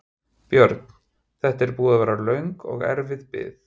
Björn: Þetta er búin að vera löng og erfið bið?